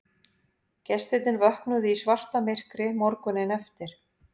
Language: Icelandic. Gestirnir vöknuðu í svartamyrkri morguninn eftir